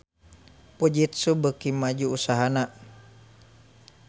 Fujitsu beuki maju usahana